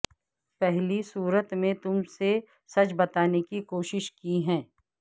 پہلی صورت میں تم سے سچ بتانے کی کوشش کی ہے